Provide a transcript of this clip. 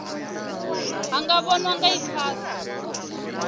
ha nga vhonwa nga icasa